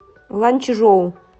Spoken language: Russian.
ланьчжоу